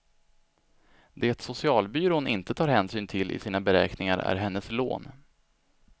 Det socialbyrån inte tar hänsyn till i sina beräkningar är hennes lån.